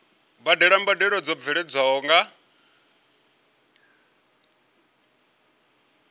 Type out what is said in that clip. badela mbadelo dzo bveledzwaho nga